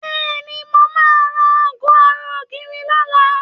Bẹ́ẹ̀ni, mo máa ra aago ara ògiri lọ́la